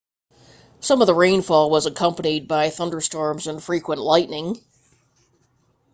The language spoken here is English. some of the rainfall was accompanied by thunderstorms and frequent lightning